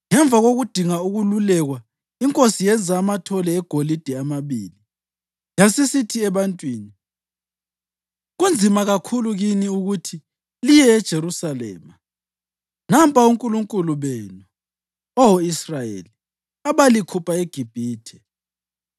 Ngemva kokudinga ukwelulekwa, inkosi yenza amathole egolide amabili. Yasisithi ebantwini, “Kunzima kakhulu kini ukuthi liye eJerusalema. Nampa onkulunkulu benu, Oh Israyeli, abalikhupha eGibhithe.”